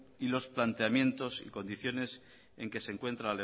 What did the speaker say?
y los planteamientos y condiciones en que se encuentra